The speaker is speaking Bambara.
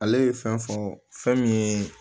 Ale ye fɛn fɔ fɛn min ye